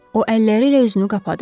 O əlləriylə özünü qapadı.